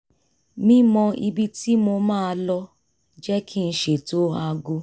mímọ ibi tí mo máa lọ jẹ́ kí n ṣètò aago